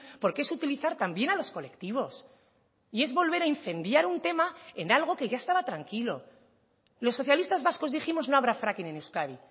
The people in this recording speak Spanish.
porque es utilizar también a los colectivos y es volver a incendiar un tema en algo que ya estaba tranquilo los socialistas vascos dijimos no habrá fracking en euskadi